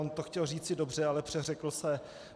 On to chtěl říci dobře, ale přeřekl se.